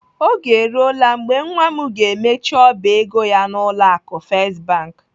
Oge eruola mgbe nwa m ga-emechi ọba ego ya n'ụlọ akụ First Bank.